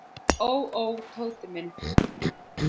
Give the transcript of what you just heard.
Ó, ó, Tóti minn.